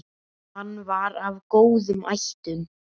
Hann var af góðum ættum.